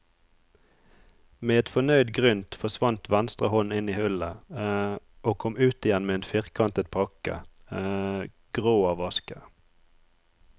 Med et fornøyd grynt forsvant venstre hånd inn i hullet og kom ut igjen med en firkantet pakke, grå av aske.